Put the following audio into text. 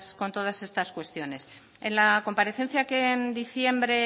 con todas estas cuestiones en la comparecencia que en diciembre